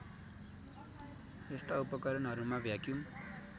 यस्ता उपकरणहरूमा भ्याक्युम